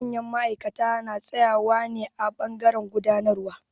Manyan ma'aikata na tsaƴawa ne a ɓangaren gudanarwa.